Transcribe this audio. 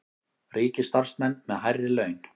Ríkisstarfsmenn með hærri laun